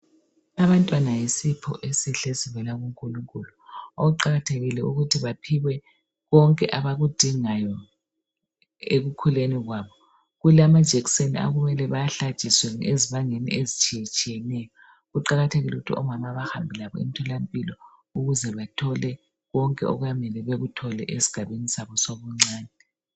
Abantwana yisipho esihle esivela kuNkulunkulu. Kuqakathekile ukuthi baphiwe konke abakudingayo ekukhuleni kwabo. Kulamajekiseni okumele bawahlatshiswe ezibangeni ezitshiyetshiyeneyo. Kuqakathekile ukuthi omama bahambe labo emtholampilo ukuze bathole konke okuyabe kumele bakuthole esigabeni sabo sobuncane.